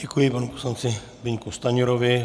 Děkuji panu poslanci Zbyňku Stanjurovi.